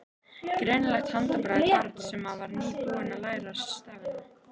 Greinilegt handbragð barns sem var nýbúið að læra stafina.